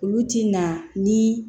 Olu ti na ni